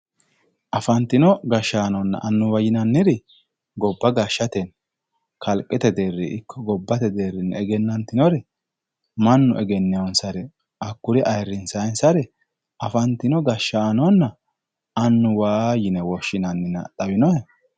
afantino gashshaanonna annuwa yinanniri gobba gashshatenni kalqete deeri iko gobbate deerii egenantinnori mannu egeenee"oonsare hakkuri ayiirinsanisare afantino gashshaanonna annuwa yine woshinannina xawinohe